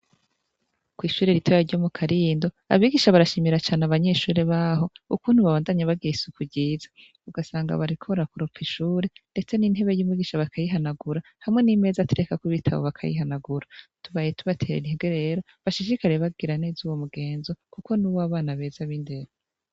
Kw'ishure ritoya ryo mu Karindo, abigisha barashimira cane abanyeshure ba ho, ukuntu babandanya bagira isuku ryiza. Ugasanga bariko barakoropa ishure, ndetse n'intebe y'umwigisha bakayihanagura, hamwe n'imeza aterekako ibitabo bakayihanagura. Tubaye tubatera intege rero bashishishikare bagira neza uwo mugenzo, kuko ni uw'abana beza b'indero.